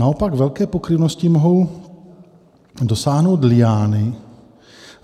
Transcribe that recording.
Naopak velké pokryvnosti mohou dosáhnout liány.